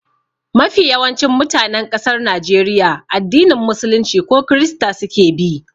Mafi yawancin mutanen ƙasar Najeriya addinin musulunci ko krista suke bi.